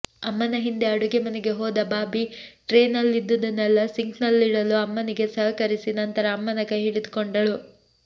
ಅಮ್ಮನ ಹಿಂದೆ ಅಡುಗೆ ಮನೆಗೆ ಹೋದ ಬಾಬಿ ಟ್ರೇನಲ್ಲಿದ್ದುದನ್ನೆಲ್ಲ ಸಿಂಕ್ ನಲ್ಲಿಡಲು ಅಮ್ಮನಿಗೆ ಸಹಕರಿಸಿ ನಂತರ ಅಮ್ಮನ ಕೈ ಹಿಡಿದುಕೊಂಡಳು